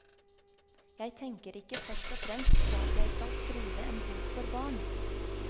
Jeg tenker ikke først og fremst på at jeg skal skrive en bok for barn.